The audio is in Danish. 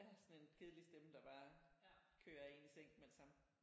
Ja sådan en kedelig stemme der bare kører en i seng med det samme